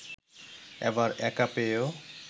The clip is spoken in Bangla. এবার একা পেয়েও